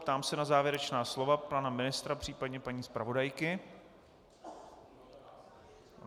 Ptám se na závěrečná slova pana ministra, případně paní zpravodajky.